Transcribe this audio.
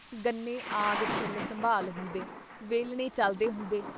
ਗੰਨੇ ਆਗ ਛਿੱਲ ਸੰਭਾਲ ਹੁੰਦੇ, ਵੇਲਣੇ ਚੱਲਦੇ ਹੁੰਦੇ।